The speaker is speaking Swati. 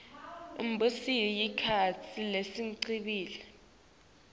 imibuso yesikhatsi lesengcile